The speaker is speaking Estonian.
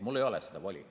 Mul ei ole seda voli.